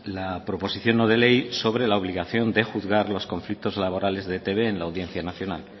la proposición no de ley sobre la obligación de juzgar los conflictos laborales de e i te be en la audiencia nacional